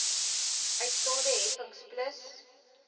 uitstaande heffings plus